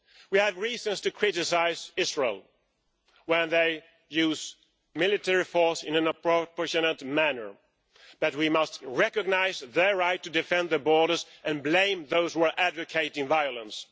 We have reasons to criticise Israel when they use military force in a disproportionate manner, but we must recognise their right to defend their borders and blame those who are advocating violence.